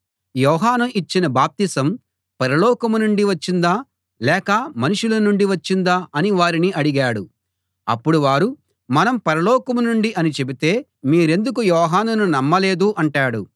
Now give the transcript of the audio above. యోహాను ఇచ్చిన బాప్తిసం పరలోకం నుండి వచ్చిందా లేక మనుషుల నుండి వచ్చిందా అని వారిని అడిగాడు అప్పుడు వారు మనం పరలోకం నుండి అని చెబితే మీరెందుకు యోహానును నమ్మలేదు అంటాడు